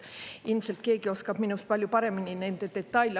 Ilmselt keegi oskab minust palju paremini nende detaile.